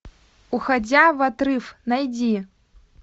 уходя в отрыв найди